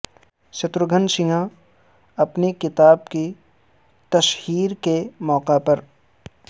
شترو گن سنہا اپنی کتاب کی تشہیر کے موقع پر